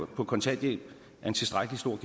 på kontanthjælp er en tilstrækkelig stor